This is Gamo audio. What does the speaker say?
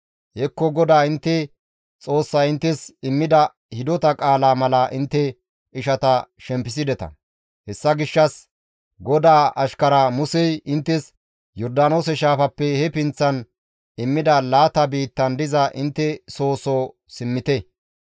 Hekko GODAA intte Xoossay inttes immida hidota qaalaa mala intte ishata shempisides. Hessa gishshas GODAA ashkara Musey inttes Yordaanoose shaafappe he pinththan immida laata biittan diza intte soo soo simmite.